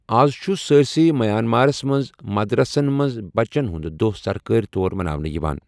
آز چُھ سٲرِسٕے مَیانمارس منٛز مدرَسن منٛز بَچن ہُنٛد دۄہ سركٲرِ طور مَناونہٕ یِوان۔